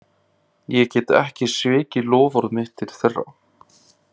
Ég get ekki svikið loforð mitt til þeirra.